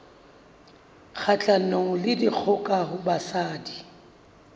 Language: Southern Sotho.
kgahlanong le dikgoka ho basadi